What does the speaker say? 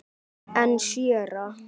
En séra